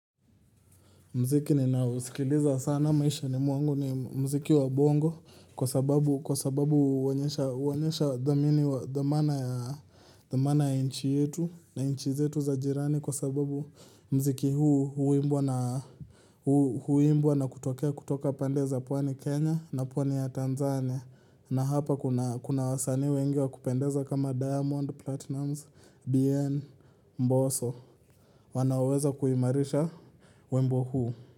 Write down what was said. Muziki ninausikiliza sana maishani mwangu ni muziki wa bongo kwa sababu huonyesha huonyesha dhamini wa, dhamana ya nchi yetu na nchi zetu za jirani kwa sababu muziki huu huimbwa na huimbwa na kutokea kutoka pande za pwani Kenya na pwani ya Tanzania na hapa kuna wasanii wengi wa kupendeza kama Diamond Platinumz, Bien, Mbosso wanaoweza kuimarisha wimbo huu.